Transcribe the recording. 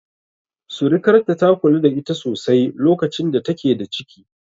Surikarta, ta kula da ita sosai lokacin da take da ciki.